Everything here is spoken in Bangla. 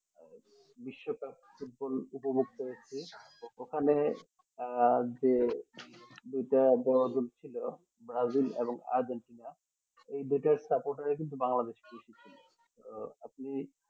বিশ্ব cup ফুটবল উপভোগ করেছি ওখানে আহ যে দুইটা দল হচ্ছিলো ব্রাজিল এবং আর্জেন্টিনা এই দুটার support এ কিন্তু বাংলাদেশ তো আপনি